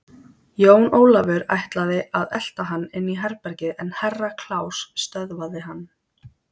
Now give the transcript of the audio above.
Jón Ólafur ætlaði að elta hann inn í herbergið en Herra Kláus stöðvaði hann.